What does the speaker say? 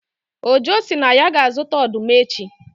Ojo sị na ya ga-azụta ọdụm echi